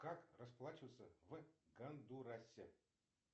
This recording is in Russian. как расплачиваться в гондурасе